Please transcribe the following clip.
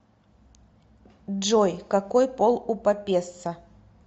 джой какой пол у папесса